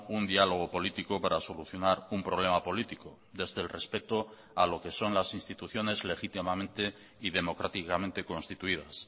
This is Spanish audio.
un diálogo político para solucionar un problema político desde el respeto a lo que son las instituciones legítimamente y democráticamente constituidas